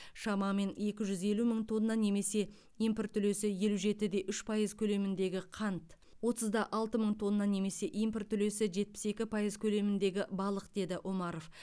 шамамен екі жүз елу мың тонна немесе импорт үлесі елу жеті де үш пайыз көлеміндегі қант отыз да алты мың тонна немесе импорт үлесі жетпіс екі пайыз көлеміндегі балық деді омаров